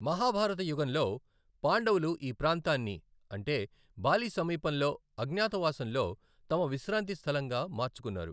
మహాభారత యుగంలో, పాండవులు ఈ ప్రాంతాన్ని అంటే బాలి సమీపంలో, అజ్ఞాతవాసంలో తమ విశ్రాంతి స్థలంగా మార్చుకున్నారు.